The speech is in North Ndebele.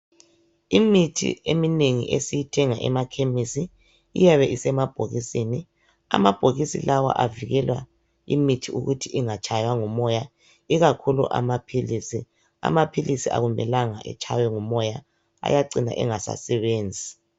imithi eminengi esiyithenga ema khemisi iyabe ise mabhokisini amabhokisi lawa avikela imithi ukuthi engatshaywa ngumoya ikakhulu amaphilizi amaphilizi akumelanga etshaywe ngumoya ayacina engasa sebenzi.